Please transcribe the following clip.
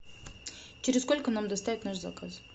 через сколько нам доставят наш заказ